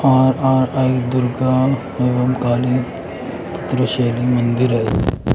आर_आर_आई दुर्गा एवं काली पुत्र शैली मंदिर है।